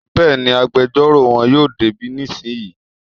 Bẹ́ẹ̀ni, agbẹjọ́rò won yóò dé bí nísìnyí